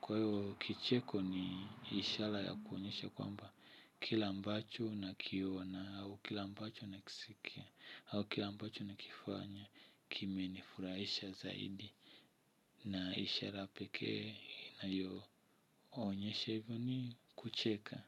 Kwa hiyo kicheko ni ishara ya kuonyesha kwamba kile ambacho nakiona au kile ambacho nakisikia au kile ambacho nakifanya kime ni furaisha zaidi na ishara pekee inayo onyesha hivyo ni kucheka.